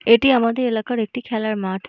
এটি আমাদের এলাকার একটি খেলার মাঠ।